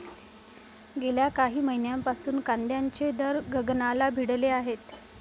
गेल्या काही महिन्यांपासून कांद्याचे दर गगनाला भिडले आहेत.